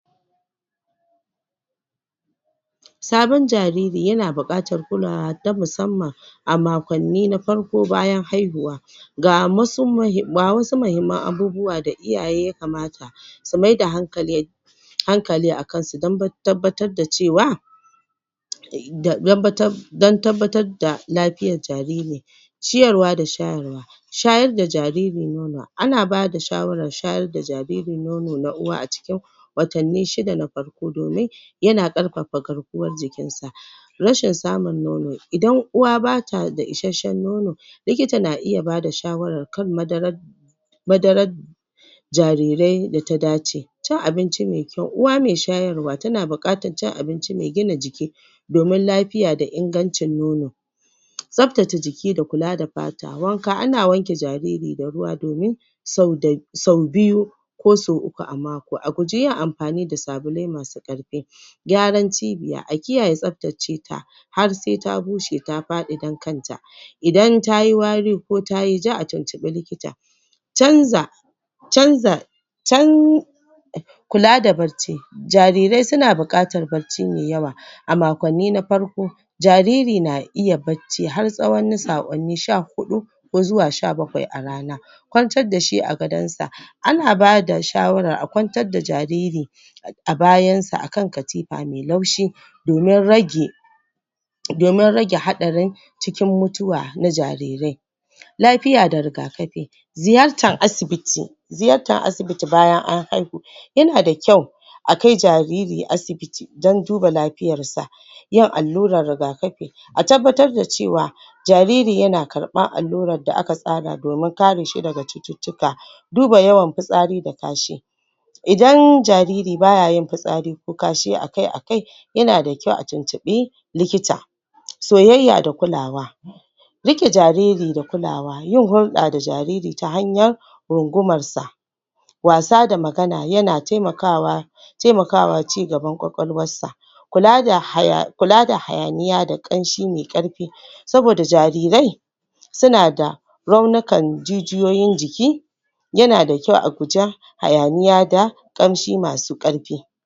Sabon jariri yana buƙatar kulawa ta musamman a maƙonni na farko bayan haihuwa ga musu ga wasu mahimmam abubuwa da iyaye yakamata su mai da hankali hankali a kansu dan ba dan tabbatar da cewa um dan tabbatar da lafiyar jariri ciyarwa da shayarwa shayar da jariri nono, ana bada shawarar shayar da jariri nono na uwa a cikin watanni shida na farko domin yana ƙarfafa garkuwar jikinsa rashin samun nono idan uwa bata da isashshen nono likita na iya bada shawarar kan maddarar madarar jarirai da ta dace Cin abinci mai kyau, uwa mai shayarwa tana buƙatar cin abinci mai gina jiki domin lafiya da ingancin nono tsaftace jiki da kula da fata, wanka, ana wanke jariri da ruwa domin sauda sau biyu ko sau uku a maƙo, a guji yin amfani da sabulai masu ƙarfi Gyran cibiya, a kiyaye tsaftace ta har sai ta bushe ta faɗin dan kan ta idan tayi wari, ko tayi ja, a tuntuɓi likita canza canza can kula da barci jarirai suna buƙatar barci mai yawa a maƙonni na farko jariri na iya barci har tsawon na sa'onni sha huɗu ko zuwa sha bakwai a rana kwantar dashi a gadon sa ana bada shawarar a kwantar da jariri a bayan sa akan katifa mai laushi domin rage domin rage haɗarin cikin mutuwa na jarirai lafiya da rigakafi ziyartar asibiti ziyartar asibiti bayan an haihu yana da kyau akai jariri asibiti, don duba lafiyar sa yin allurar rigakafi a tabbatar da cewa jariri yana karɓar allurar da aka tsara domin kare shi daga cututtuka duba yawan fitsari da kashi idan jariri bayayin fitsari ko kashi akai akai, yana da kyau a tuntuɓi likita soyayya da kulawa riƙe jariri da kulawa, yin hulɗa da jariri ta hanyar rungumar sa wasa da magana yana taimakawa taimakawa cigaban kwakwalwar sa kula da haya kula hayaniya da ƙamshi mai karfi saboda jarirai suna da raunikan jijiyoyin jiki yana da kyau a guji hayaniya da ƙamshi masu ƙarfi